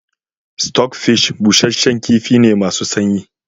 Stockfish busasshen kifi ne masu sanyi